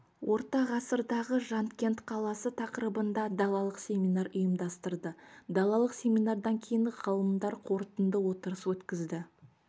орта ғасырдағы жанкент қаласы тақырыбында далалық семинар ұйымдастырды далалық семинардан кейін ғалымдар қорытынды отырыс өткізді